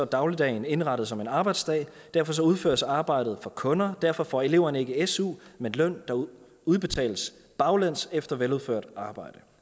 dagligdagen er indrettet som en arbejdsdag og derfor udføres arbejdet for kunder og derfor får eleverne ikke su men løn der udbetales baglæns efter veludført arbejde